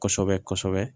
Kɔsɛbɛ kɔsɛbɛ